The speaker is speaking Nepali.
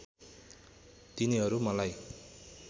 तिनीहरू मलाई